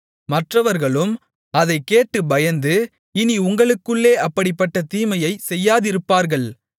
மற்றவர்களும் அதைக் கேட்டுப் பயந்து இனி உங்களுக்குள்ளே அப்படிப்பட்ட தீமையைச் செய்யாதிருப்பார்கள்